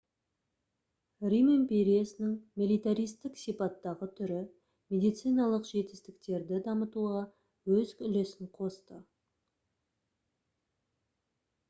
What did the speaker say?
рим империясының милитаристік сипаттағы түрі медициналық жетістіктерді дамытуға өз үлесін қосты